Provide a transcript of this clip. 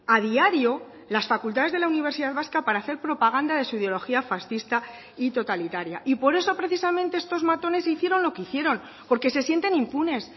a diario las facultades de la universidad vasca para hacer propaganda de su ideología fascista y totalitaria y por eso precisamente estos matones hicieron lo que hicieron porque se sienten impunes